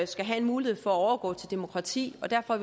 skal have en mulighed for at overgå til demokrati og derfor